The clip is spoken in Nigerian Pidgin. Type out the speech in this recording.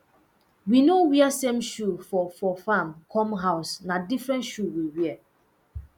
we no wear same shoe for for farm come house na different shoe we wear